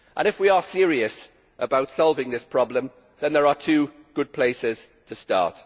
If we are serious about solving this problem then there are two good places to start.